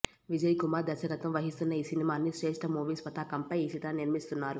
విజయ్ కుమార్ దర్శకత్వం వహిస్తున్న ఈ సినిమాన్ని శ్రేష్ఠ మూవీస్ పతాకంపై ఈ చిత్రాన్ని నిర్మిస్తున్నారు